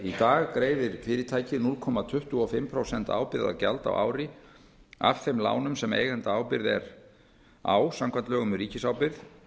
í dag greiðir fyrirtækið núll komma tuttugu og fimm prósent ábyrgðargjald á ári af þeim lánum sem eigendaábyrgð er á samkvæmt lögum um ríkisábyrgð